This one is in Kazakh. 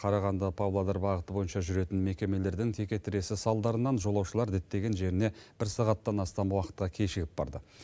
қарағанды павлодар бағыты бойынша жүретін мекемелердің текетіресі салдарынан жолаушылар діттеген жеріне бір сағаттан астам уақытқа кешігіп барды